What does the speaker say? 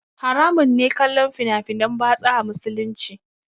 Haramun ne kallon fina finan batsa a musulunci